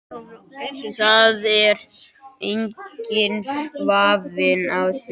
Það er enginn vafi á því